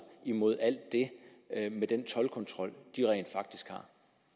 mod alt det med den toldkontrol de rent faktisk har